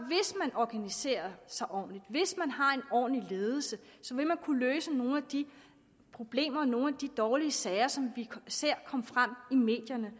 organiserer sig ordentligt hvis man har en ordentlig ledelse kunne løse nogle af de problemer nogle af de dårlige sager som vi ser komme frem i medierne